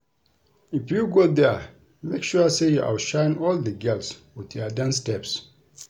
If you go there make sure you outshine all the girls with your dance steps